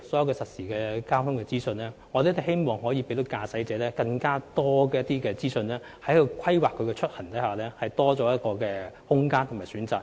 在實時交通資訊方面，我們希望可以給予特別是駕駛者更多資訊，以便他在規劃出行時有更大空間和更多選擇。